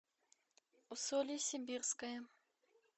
усолье сибирское